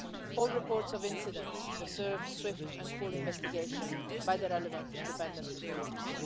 All reports of incidents deserve swift and full investigation by the relevant independent authorities.